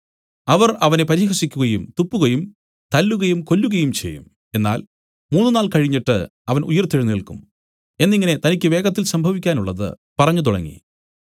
അവർ അവനെ പരിഹസിക്കുകയും തുപ്പുകയും തല്ലുകയും കൊല്ലുകയും ചെയ്യും എന്നാൽ മൂന്നുനാൾ കഴിഞ്ഞിട്ട് അവൻ ഉയിർത്തെഴുന്നേല്ക്കും എന്നിങ്ങനെ തനിക്കു വേഗത്തിൽ സംഭവിക്കാനുള്ളത് പറഞ്ഞുതുടങ്ങി